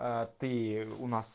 а ты у нас